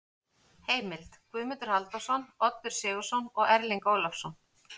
Heimild: Guðmundur Halldórsson, Oddur Sigurðsson og Erling Ólafsson.